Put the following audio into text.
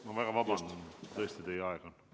Ma väga vabandan, aga teie aeg on otsas.